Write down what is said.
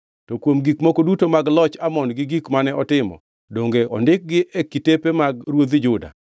To kuom gik moko duto mag loch Amon gi gik mane otimo, donge ondikgi e kitepe mag ruodhi Juda?